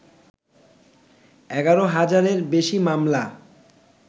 ১১ হাজারের বেশি মামলা